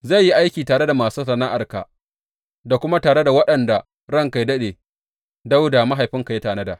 Zai yi aiki tare da masu sana’arka, da kuma tare da waɗanda ranka yă daɗe, Dawuda mahaifinka ya tanada.